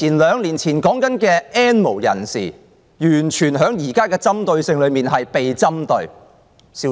兩年前所提到的 "N 無人士"，完全在現時被針對，針對得消失了。